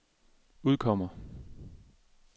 udkommer